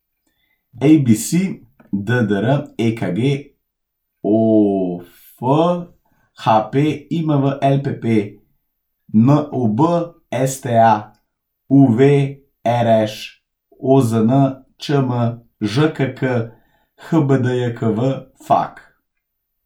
ABC, DDR, EKG, OF, HP, IMV, LPP, NOB, STA, UV, RŠ, OZN, ČM, ŽKK, HBDJKV, FAQ.